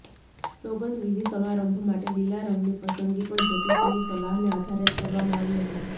સોગંદવિધિ સમારંભ માટે લીલા રંગની પસંદગી પણ જ્યોતિષીની સલાહને આધારે જ કરવામાં આવી હતી